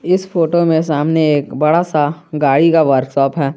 इस फोटो मे सामने एक बड़ा सा गाड़ी का वर्कशॉप है।